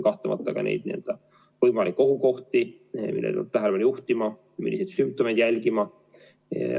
Kahtlemata on ka võimalikke ohukohti, millele peab tähelepanu juhtima, milliseid sümptomeid jälgima.